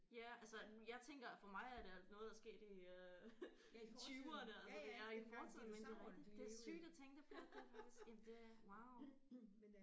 Ja altså jeg tænker for mig er det noget der er sket i øh tyverne altså det er i fortiden men det er rigtigt det er sygt at tænke på det faktisk jamen det wow